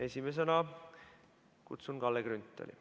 Esimesena kutsun Kalle Grünthali.